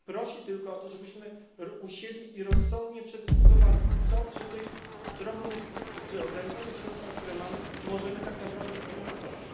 Prosi tylko o to, żebyśmy usiedli i rozsądnie przedyskutowali, co przy ograniczonych środkach, które mamy, możemy tak naprawdę sfinansować.